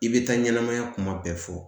I bɛ taa ɲɛnɛmaya kuma bɛɛ fɔ